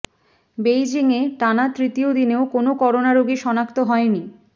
বেইজিংয়ে টানা তৃতীয় দিনেও কোনো করোনা রোগী শনাক্ত হয়নি